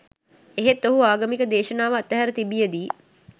එහෙත් ඔහු ආගමික දේශනාව අත්හැර තිබියදී